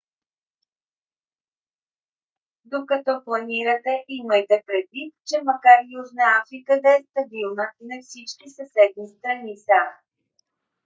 докато планирате имайте предвид че макар южна африка да е стабилна не всички съседни страни са